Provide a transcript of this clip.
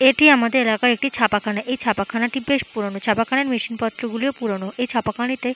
এটি আমাদের এলাকার একটি ছাপাখানা। এই ছাপাখানা টি বেশ পুরোনো ছাপাখানার মেশিন পত্র গুলিও পুরোনো। এই ছাপাখানাতে।